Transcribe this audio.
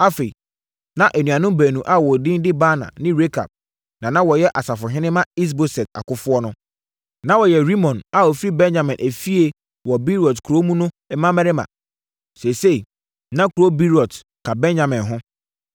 Afei, na anuanom baanu a wɔn din de Baana ne Rekab na na wɔyɛ asafohene ma Is-Boset akofoɔ no. Na wɔyɛ Rimon a ɔfiri Benyamin efie wɔ Beerot kuro mu no mmammarima. Seesei, na kuro Beerot ka Benyamin ho,